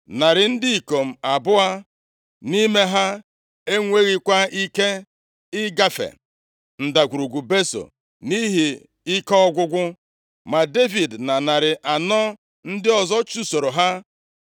narị ndị ikom abụọ nʼime ha enwekwaghị ike ịgafe ndagwurugwu Beso nʼihi ike ọgwụgwụ, ma Devid na narị anọ ndị ọzọ chụsoro ha.